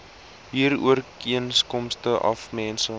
huurooreenkoms af mense